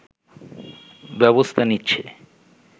ব্যবস্থা নিচ্ছে